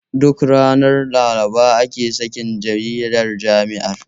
Duk ranar Laraba ake sakin jaridar jami'ar.